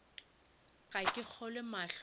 ga ke kgolwe mahlo a